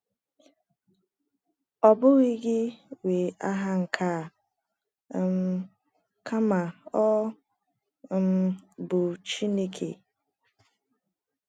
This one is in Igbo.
“ Ọ Bụghị gi Nwe Agha nke A um, Kama Ọ um Bụ Chineke ”